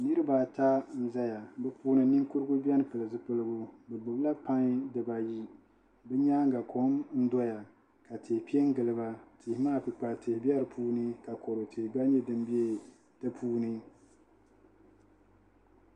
Niraba ata n ʒɛya bi puuni ninkurigu biɛni pili zipiligu bi gbubila pai dibayi bi nyaanga kom n doya ka tihi piɛ n giliba tihu maa kpukpali tihi bɛ di puuni ka kodu tihi gba nyɛ din biɛni di puuni